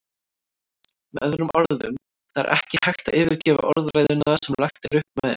Með öðrum orðum, það er ekki hægt að yfirgefa orðræðuna sem lagt er upp með.